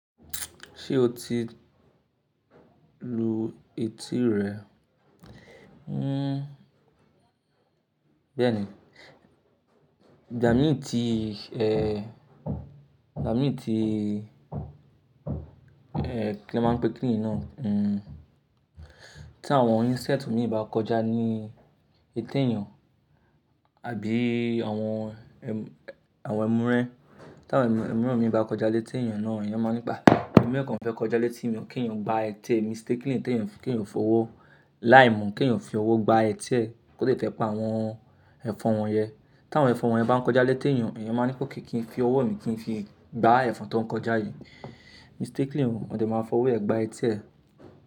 Ṣé o ti lu etí rẹ? Béẹ̀ ni, jà mí ì tí ṣe, ẹ, jà mí ì tí, ẹ, kín la máa ń pe kiní yìí náà. Hmm, tí àwọn insect mi bá kọjá ní etí èèyàn àbí àwọn ẹm- àwọn ẹmu rẹ́n, tí àwọn ẹmu rẹ́n mi bá kọjá létí èèyàn náà, èèyàn máa ń ní pa. Ẹmu rẹ́ kàn fẹ́ kọjá létí mi, kí èèyàn gba eti emi, mistakenly kí èèyàn f- kí èèyàn fowó. Láìmù kí èèyàn fi ọwọ́ gba eti ẹ́ kó lè tẹ́pa àwọn ẹ̀fọ́n wọn yẹn. Tí àwọn ẹ̀fọ́n wọn yẹn bá ń kọjá létí èèyàn, èèyàn máa ní pé ok kí n fi ọwọ́ mi kí n fi gbá ẹ̀fọn tó ń kọjá yìí. Mistakingly o dẹ̀ máa fọwọ́ ẹ gba etí ẹ.